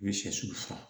U ye sɛsi faga